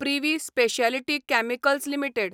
privy speciality chemicals limited